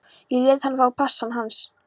Ég lét hann fá passann hans